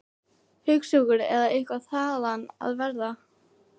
Hugsjúkur eða eitthvað þaðan af verra.